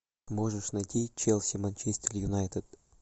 можешь найти челси манчестер юнайтед